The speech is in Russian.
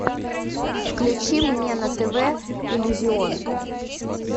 включи мне на тв иллюзион